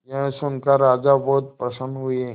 यह सुनकर राजा बहुत प्रसन्न हुए